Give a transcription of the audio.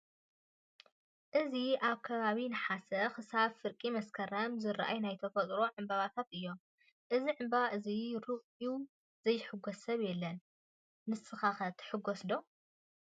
እዚ ኣብ ከባቢ ነሓሰክሳብ ፍርቂ መስከረም ዝረኣዩ ናይ ተፈጥሮ ዕበባታት እዮም::እዚ ዕንበባ እዚ ሪኡ ዘይሕጎስ ሰብ የለን :: ንስከ ትሕጎሱ ዶ ?